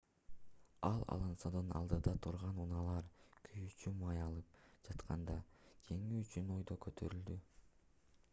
ал алонсодон алдыда турган унаалар күйүүчү май алып жатканда жеңүү үчүн өйдө көтөрүлдү